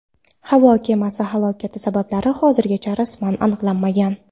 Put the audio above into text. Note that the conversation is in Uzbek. Havo kemasi halokati sabablari hozirgacha rasman aniqlanmagan.